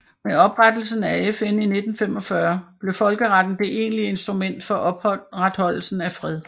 Med oprettelsen af FN i 1945 blev folkeretten det egentlige instrument for opretholdelse af fred